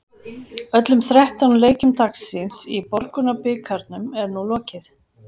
Öllum þrettán leikjum dagsins í Borgunarbikarnum er nú lokið.